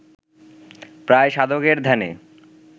প্রায় সাধকের ধ্যানে